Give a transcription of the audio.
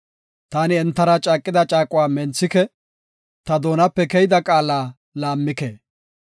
Taani entara caaqida caaquwa menthike; ta doonape keyida qaala laammike.